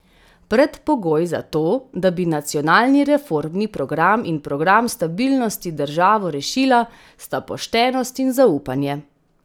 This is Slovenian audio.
Predpogoj za to, da bi nacionalni reformni progam in program stabilnosti državo rešila, sta poštenost in zaupanje.